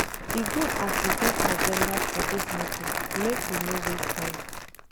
E good as we get agenda for dis meeting, make we no waste time.